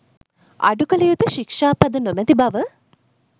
අඩුකළ යුතු ශික්‍ෂාපද නොමැති බව